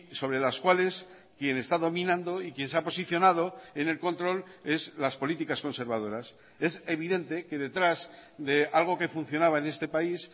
sobre las cuales quien está dominando y quien se ha posicionado en el control es las políticas conservadoras es evidente que detrás de algo que funcionaba en este país